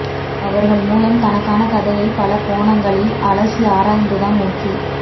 அவர்கள் மூலம் தனக்கான கதையை பல கோணங்களில் அலசி ஆராய்ந்துதான் ஓகே